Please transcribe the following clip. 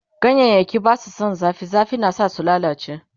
ganyayaki Basu San zafi, zafi na sa su lallace